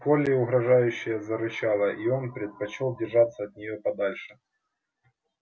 колли угрожающе зарычала и он предпочёл держаться от неё подальше